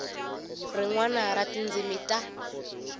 rin wana ra tindzimi ta